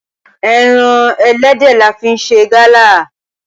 Ẹran ẹlẹ́dẹ̀ la fi ń ṣe Gala